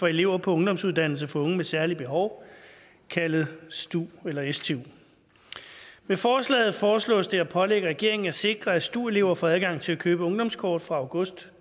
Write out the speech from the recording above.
for elever på ungdomsuddannelser for unge med særlige behov kaldet stu med forslaget foreslås det at pålægge regeringen at sikre at stu elever får adgang til at købe ungdomskort fra august